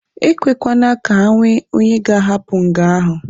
Ekwekwana ka enwe onye ga-ahapụ nga ahụ!